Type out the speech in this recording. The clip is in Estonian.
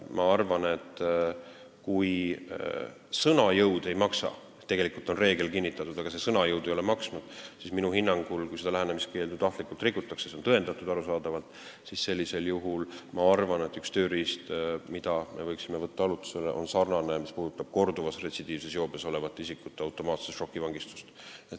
Ma arvan, et kui sõna jõud ei maksa – tegelikult on reegel kinnitatud, aga sõna jõud ei ole maksnud –, siis minu hinnangul, kui lähenemiskeeldu tahtlikult rikutakse ja see on tõendatud, arusaadavalt, siis sellisel juhul üks tööriist, mille me võiksime arutusele võtta, on sarnane korduvas retsidiivses joobes olles autot juhtinud isikute automaatse šokivangistusega.